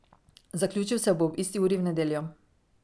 Zaključil se bo ob isti uri v nedeljo.